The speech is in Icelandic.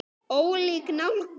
Ólík nálgun.